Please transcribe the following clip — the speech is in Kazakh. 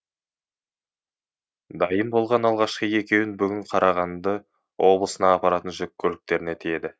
дайын болған алғашқы екеуін бүгін қарағанды облысына апаратын жүк көліктеріне тиеді